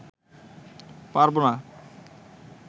পারব না